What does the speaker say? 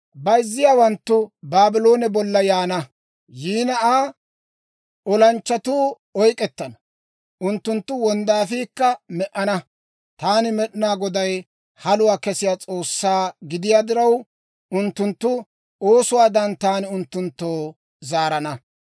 Bayzziyaawanttu Baabloone bolla yaana; Aa olanchchatuu oyk'k'ettana; unttunttu wonddaafiikka me"ana. Taani Med'inaa Goday haluwaa kessiyaa S'oossaa gidiyaa diraw, unttunttu oosuwaadan taani unttunttoo zaarana.